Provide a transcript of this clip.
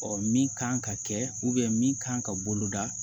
min kan ka kɛ min kan ka bolo da